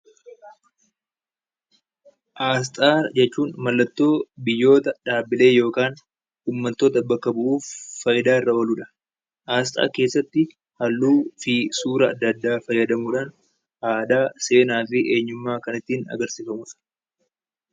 Asxaa jechuun mallattoo dhaabbilee yookaan uummata bakka bu'uuf fayidaarra ooludha. Asxaa keessatti halluu fi suura adda addaa fayyadamuudhaan aadaa, seenaa fi eenyummaa kan ittiin agarsiifamudha